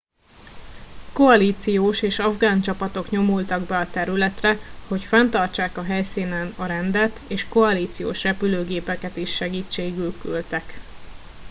koalíciós és afgán csapatok nyomultak be a területre hogy fenntartsák a helyszínen a rendet és koalíciós repülőgépeket is segítségül küldtek